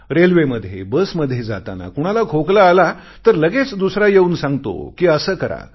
रेल्वेमध्ये बसमध्ये जाताना कुणाला खोकला आला तर लगेच दुसरा येऊन सांगतो कि असे करा